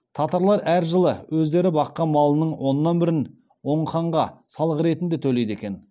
татарлар әр жылы өздері баққан малының оннан бірін оң ханға салық ретінде төлейді екен